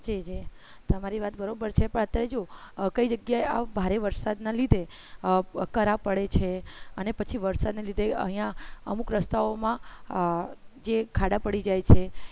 તમારી વાત બરોબર છે કઈ જગ્યાએ આ ભારે વરસાદના લીધે કરા પડે છે અને પછી વરસાદને લીધે અહીંયા અમુક રસ્તાઓમાં જે ખાડા પડી જાય છે